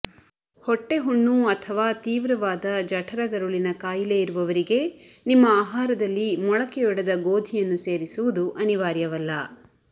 ಹೊಟ್ಟೆ ಹುಣ್ಣು ಅಥವಾ ತೀವ್ರವಾದ ಜಠರಗರುಳಿನ ಕಾಯಿಲೆ ಇರುವವರಿಗೆ ನಿಮ್ಮ ಆಹಾರದಲ್ಲಿ ಮೊಳಕೆಯೊಡೆದ ಗೋಧಿಯಲ್ಲಿ ಸೇರಿಸುವುದು ಅನಿವಾರ್ಯವಲ್ಲ